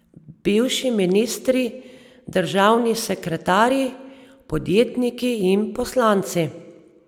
Bivši ministri, državni sekretarji, podjetniki in poslanci.